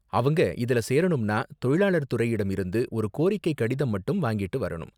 அவங்க இதுல சேரணும்னா தொழிலாளர் துறையிடம் இருந்து ஒரு கோரிக்கை கடிதம் மட்டும் வாங்கிட்டு வரணும்.